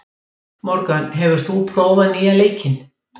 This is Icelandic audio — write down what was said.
Morgan, hefur þú prófað nýja leikinn?